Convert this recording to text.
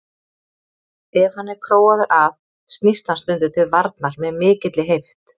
Ef hann er króaður af snýst hann stundum til varnar með mikilli heift.